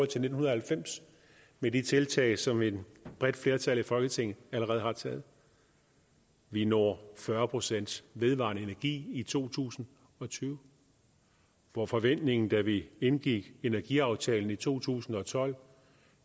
til nitten halvfems med de tiltag som et bredt flertal i folketinget allerede har taget vi når fyrre procent vedvarende energi i to tusind og tyve hvor forventningen da vi indgik energiaftalen i to tusind og tolv